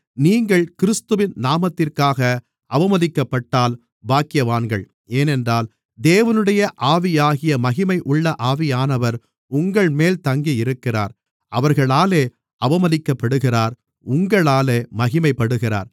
நீங்கள் கிறிஸ்துவின் நாமத்திற்காக அவமதிக்கப்பட்டால் பாக்கியவான்கள் ஏனென்றால் தேவனுடைய ஆவியாகிய மகிமையுள்ள ஆவியானவர் உங்கள்மேல் தங்கியிருக்கிறார் அவர்களாலே அவமதிக்கப்படுகிறார் உங்களாலே மகிமைப்படுகிறார்